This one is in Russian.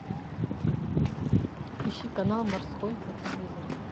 ищи канал морской на телевизоре